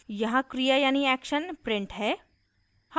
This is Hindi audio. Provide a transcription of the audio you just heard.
यहाँ क्रिया यानी action print है